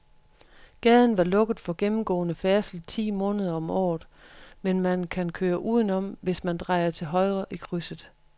Gaden er lukket for gennemgående færdsel ti måneder om året, men man kan køre udenom, hvis man drejer til højre i krydset.